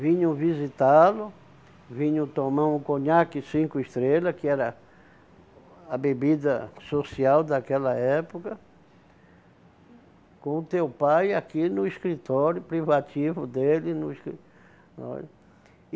Vinham visitá-lo, vinham tomar um conhaque cinco estrela, que era a bebida social daquela época, com o teu pai aqui no escritório privativo dele no escritório